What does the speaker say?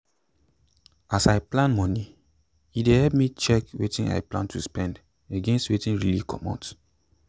as i plan moni e dey help me check wetin i plan to spend against wetin really comot.